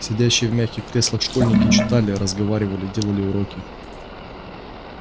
сидящие в мягких креслах школьники читали разговаривали делали уроки